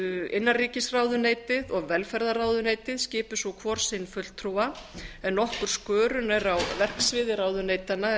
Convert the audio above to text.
innanríkisráðuneytið og velferðarráðuneytið skipi svo hvor sinn fulltrúa en nokkur skörun er á verksviði ráðuneytanna er